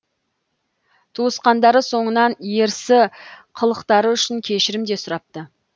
туысқандары соңынан ерсі қылықтары үшін кешірім де сұрапты